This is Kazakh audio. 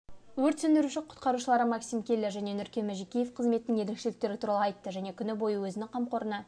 өрт сөндіруші-құтқарушылары максим келлер және нүркен мәжікеев қызметтің ерекшеліктері туралы айтты және күні бойы өзінің қамқорына